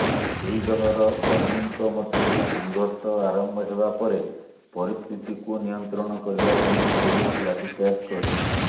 ଦୁଇ ଦଳର କର୍ମୀଙ୍କ ମଧ୍ୟରେ ସଂଘର୍ଷ ଆରମ୍ଭ ହେବାପରେ ପରିସ୍ଥିତିକୁ ନିୟନ୍ତ୍ରଣ କରିବା ପାଇଁ ପୁଲିସ ଲାଠିଚାର୍ଜ କରିଛି